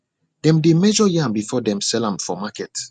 dem dey measure yam before them sell am for market